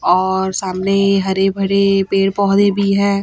और सामने हरे भरे पेड़ पौधे भी है।